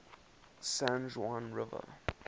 san juan river